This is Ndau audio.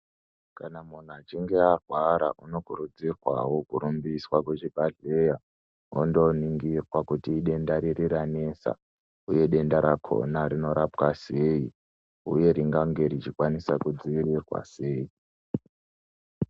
Kana munhu achinge arwara ,unokurudzirwawo kurumbiswa kuzvibhadhleya, ondoningirwa kuti idenda riri ranesa, uye denda rakona rinorapwa sei, uye ringange richikwanisa kudzivirirwa sei.